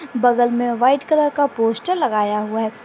बगल में white colour का पोस्टर लगाया हुआ है।